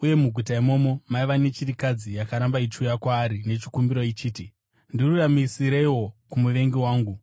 Uye muguta imomo maiva nechirikadzi yakaramba ichiuya kwaari nechikumbiro ichiti, ‘Ndiruramisireiwo kumuvengi wangu.’